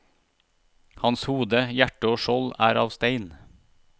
Hans hode, hjerte og skjold er av stein.